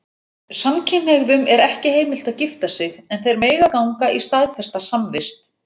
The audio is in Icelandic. Samkynhneigðum er ekki heimilt að gifta sig, en þeir mega ganga í staðfesta samvist.